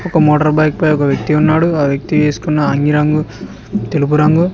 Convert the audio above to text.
ఒక motorbike పై ఒక వ్యక్తి ఉన్నాడు ఆ వ్యక్తి వేసుకున్న అంగి రంగు తెలుపు రంగు.